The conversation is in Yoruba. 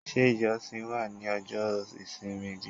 Ṣé ijosin wa ní ojo isimi bi?